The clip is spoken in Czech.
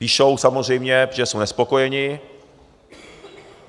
Píšou, samozřejmě, protože jsou nespokojení.